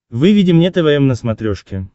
выведи мне твм на смотрешке